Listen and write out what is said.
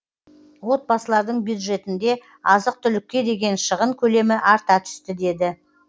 отбасылардың бюджетінде азық түлікке деген шығын көлемі арта түсті деді